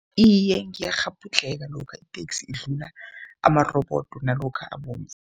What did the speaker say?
Iye, ngiyakghabhudlheka lokha iteksi idlula amarobodo nalokha abomvu.